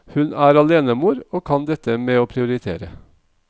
Hun er alenemor og kan dette med å prioritere.